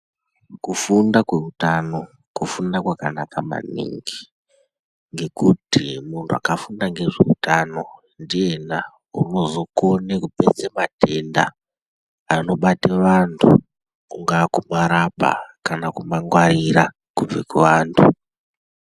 Kufunda kwe utano kufunda kwakanaka maningi ngekuti muntu akafunda ngezve utano ndiyena unozo kone kupedze matenda anobate vantu kungaa ku marapa kana ku mangwarira kubve ku vantu.